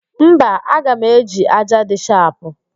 Mba, aga m eji ájá dị shapụ